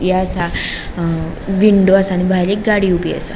या सा अ विंडो आसा आणि भायर एक गाड़ी ऊबी असा.